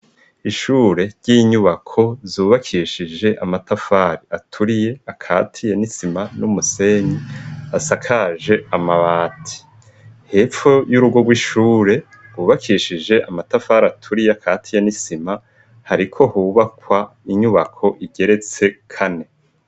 Ishure ry'inyubako zubakishije amatafari aturiye akati ye nisima n'umusenyi asakaje amabati. Hepfo y'urugo rw'ishure hubakishije amatafari aturiye akati ye n'isima, hariko hubakwa inyubako igeretse kane.